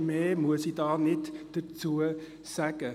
Mehr muss ich dazu nicht sagen.